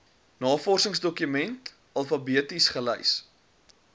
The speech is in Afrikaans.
navorsingsdokumente alfabeties gelys